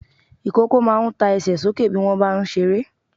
Ìkókó máa ń ta Ẹsẹ̀ sókè bí wọ́n bá ń ṣeré.